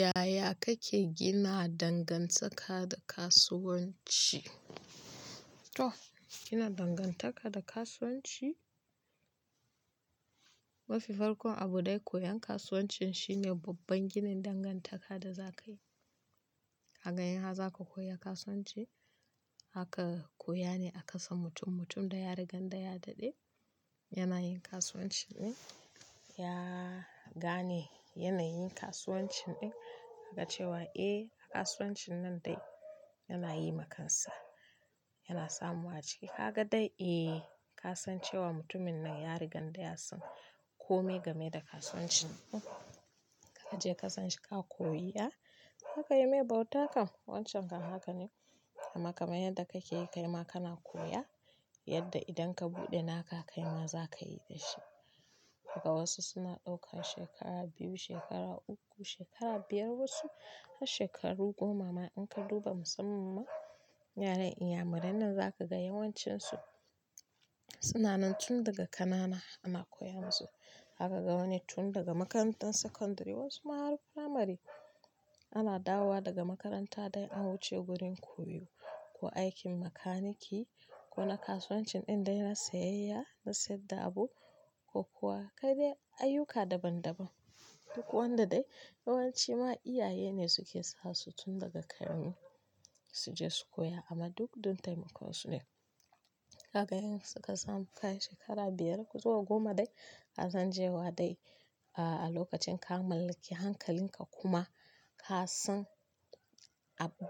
Yaya kake gina dangantaka da kasuwanci? To gina dangantaka da kasuwanci, mafi farkon abu dai koyan kasuwancin shine babban ginin dangantaka da za ka yi. Kaga in har zaka za ka koya kasuwanci, zaka koya ne a kasan mutum-mutum da ya rigan da ya dade yana yin kasuwancin ɗin, ya gane yanayin kasuwancin ɗin, tyaga cewa eh a kasuwancin nan dai yana yi ma kansa, yana samu a ciki. Kaga dai eh ka san cewa mutumin nan ya rigan da ya san kome game da kasuwancin ɗin. Ka je kasan shi ka koya, ya zaka yi mai bauta kan wancan haka ne. Amma kamar yadda kake yi kaima kana koya, yadda idan ka buɗe naka kaima za ka yi da shi. Kaga wasu suna ɗaukan shekara biyu, shekara uku, shekara biyar wasu har shekaru goma ma in ka duba musamman yaren Inyamuranen za ka ga yawancinsu suna nan tun daga kanana ana koyan su. Zaka ga wani tun daga makarantar sakandare wasu ma har firamare ana dawowa daga makaranta dai an wuce wurin koyo ko aikin makaniki ko na kasuwancin ɗin dai na sayayya na saida abu ko kuwa kai dai ayyuka daban-daban. Duk wanda dai yawanci ma iyaye ne suke sa su tun daga ƙarami su je su koya amma duk don taimakon su ne. Kaga in suka samu kai shekara biyar ko zuwa goma dai ka san cewa dai a lokacin ka mallaki hankalinka kuma ka san